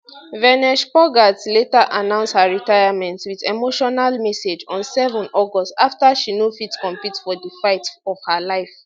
vinesh phogat later announce her retirement wit emotional message on 7 august afta she no fit compete for di fight of her life